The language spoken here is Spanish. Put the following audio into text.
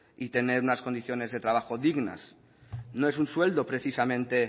y tener unas condiciones de trabajo dignas no es un sueldo precisamente